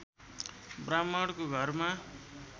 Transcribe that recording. ब्राह्मणको घरमा